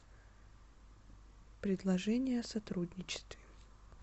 предложения о сотрудничестве